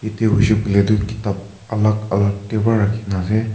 etu hoishe koile tu kitab alak alak te pra rakhina ase.